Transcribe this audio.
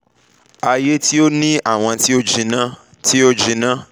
aye ti o ni awọn ti o jinna ti o jinna ti awọn egungun